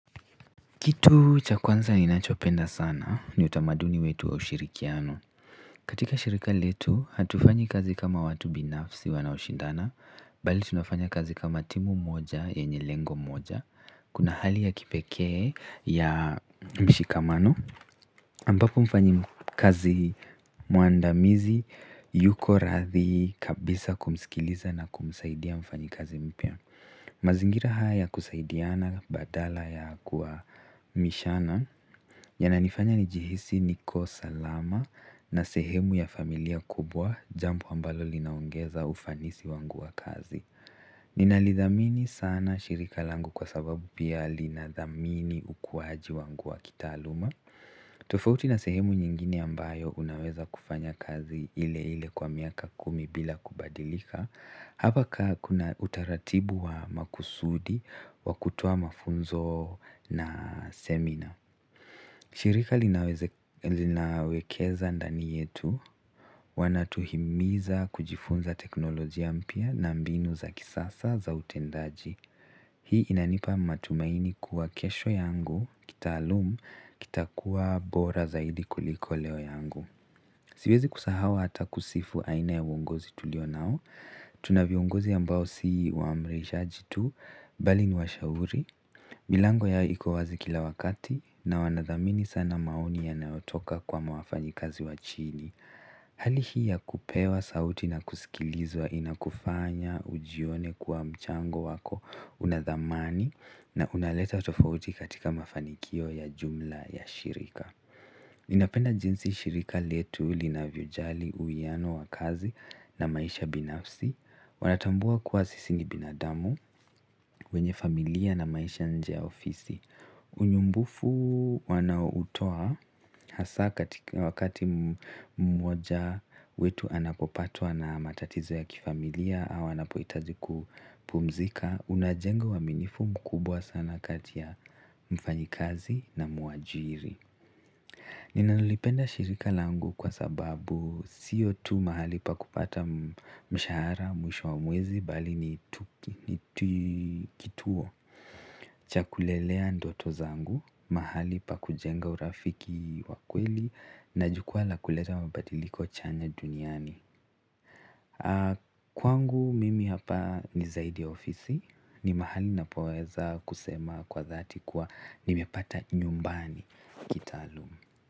Kitu cha kwanza ninachopenda sana ni utamaduni wetu wa ushirikiano. Katika shirika letu, hatufanyi kazi kama watu binafsi wanaoshindana, bali tunafanya kazi kama timu moja yenye lengo moja, kuna hali ya kipekee ya mshikamano. Ambapo mfanyikazi mwandamizi yuko radhi kabisa kumsikiliza na kumsaidia mfanyikazi mpya. Mazingira haya ya kusaidiana badala ya kuhamishana yananifanya nijihisi niko salama, na sehemu ya familia kubwa, jambo ambalo linaongeza ufanisi wangu wa kazi. Ninalidhamini sana shirika langu kwa sababu pia linadhamini ukuaji wangu wa kitaaluma tofauti na sehemu nyingine ambayo unaweza kufanya kazi ile ile kwa miaka kumi bila kubadilika hapa ka hakuna utaratibu wa makusudi wa kutoa mafunzo na semina. Shirika linawekeza ndani yetu, wanatuhimiza kujifunza teknolojia mpya na mbinu za kisasa za utendaji hii inanipa matumaini kuwa kesho yangu, kitaalumu, kitakuwa bora zaidi kuliko leo yangu. Siwezi kusahau hata kusifu aina ya uongozi tulio nao tuna viongozi ambao si waamrishaji tu bali ni washauri milango yao iko wazi kila wakati na wanathamini sana maoni yanayotoka kwa wafanyikazi wa chini hali hii ya kupewa sauti na kusikilizwa inakufanya ujione kuwa mchango wako una thamani na kunaleta tofauti katika mafanikio ya jumla ya shirika ninapenda jinsi shirika letu, linavyojali, uwiano wa kazi na maisha binafsi. Wanatambua kuwa sisi ni binadamu wenye familia na maisha nje ya ofisi. Unyumbufu wanaoutoa hasa wakati mmoja wetu anapopatwa na matatizo ya kifamilia au anapohitaji kupumzika, unajenga uaminifu mkubwa sana kati ya mfanyikazi na mwajiri. Ninalipenda shirika langu kwa sababu siyo tu mahali pa kupata mshahara mwisho wa mwezi bali ni kituo cha kulelea ndoto zangu, mahali pa kujenga urafiki wa kweli na jukwaa la kuleta mabadiliko chanya duniani kwangu mimi hapa ni zaidi ya ofisi, ni mahali napoeza kusema kwa dhati kuwa nimepata nyumbani kitaalumu.